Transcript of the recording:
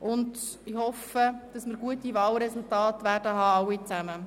Ich hoffe, dass wir alle gute Wahlresultate haben werden.